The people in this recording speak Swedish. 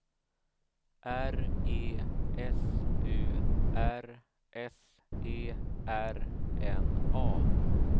R E S U R S E R N A